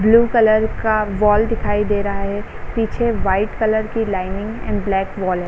Blue colour का wall दिखाई दे रहा है | पीछे वाइट कलर कि लाइनिंग एंड ब्लैक वॉल है।